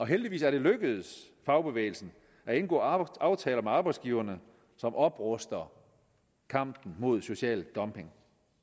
heldigvis er det lykkedes fagbevægelsen at indgå aftaler med arbejdsgiverne som opruster i kampen mod social dumping